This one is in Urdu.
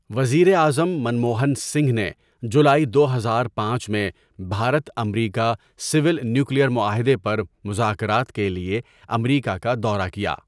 وزیر اعظم منموہن سنگھ نے جولائی دو ہزار پانچ میں بھارت امریکہ سول نیوکلیئر معاہدے پر مذاکرات کے لیے امریکہ کا دورہ کیا.